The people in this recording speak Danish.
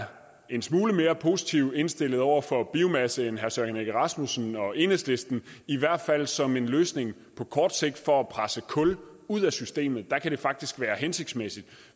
en smule mere positivt indstillet over for biomasse end herre søren egge rasmussen og enhedslisten i hvert fald som en løsning på kort sigt for at presse kul ud af systemet der kan det faktisk være hensigtsmæssigt